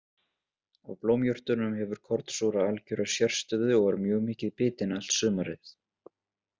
Af blómjurtunum hefur kornsúra algjöra sérstöðu og er mjög mikið bitin allt sumarið.